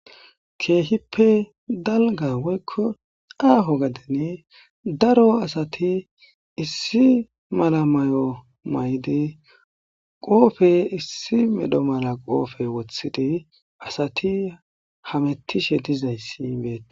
Kehipe dalga woyiko aho gaden daro asati issi mala mayo mayidi kofe issi mala medho qophe wotidi asti hametishe dizayisi betees